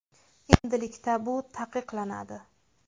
Endilikda bu taqiqlanadi.